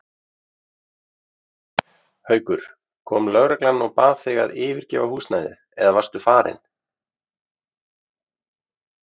Haukur: Kom lögreglan og bað þig að yfirgefa húsnæðið eða varstu farin?